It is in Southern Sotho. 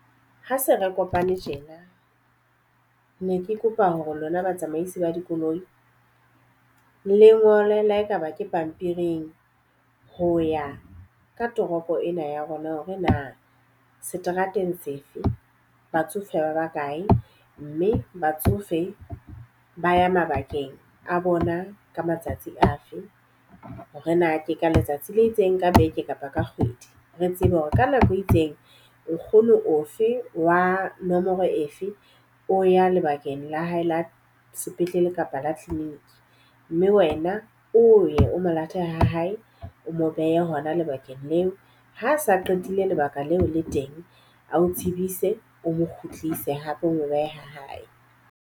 Ha se re kopane tjena, ne ke kopa hore lona batsamaisi ba dikoloi le ngole le ha e ka ba ke pampiring ho ya ka toropo ena ya rona hore na seterateng sefe batsofe ba ba kae. Mme batsofe ba ya mabakeng a bona ka matsatsi afe hore na ke ka letsatsi le itseng ka beke kapa ka kgwedi. Re tsebe hore ka nako e itseng nkgono ofe wa nomoro efe o ya lebakeng la hae la sepetlele kapa la clinic. Mme wena o ye o mo lata ha hae o mo behe hona lebakeng leo. Ha a sa qetile lebaka leo le teng a o tsebise o mo kgutlise hape o mo behe ha hae.